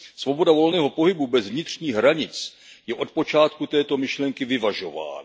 Svoboda volného pohybu bez vnitřních hranic je od počátku této myšlenky vyvažována.